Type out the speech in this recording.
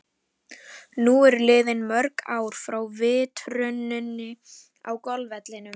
Nú eru liðin mörg ár frá vitruninni á golfvellinum.